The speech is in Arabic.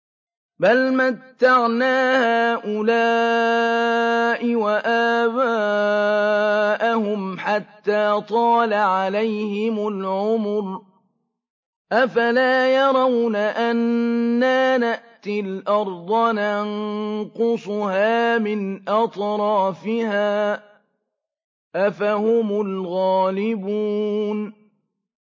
بَلْ مَتَّعْنَا هَٰؤُلَاءِ وَآبَاءَهُمْ حَتَّىٰ طَالَ عَلَيْهِمُ الْعُمُرُ ۗ أَفَلَا يَرَوْنَ أَنَّا نَأْتِي الْأَرْضَ نَنقُصُهَا مِنْ أَطْرَافِهَا ۚ أَفَهُمُ الْغَالِبُونَ